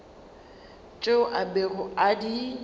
tšeo a bego a di